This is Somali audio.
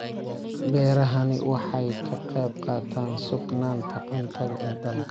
Beerahani waxa ay ka qayb qaataan sugnaanta cuntada ee dalka.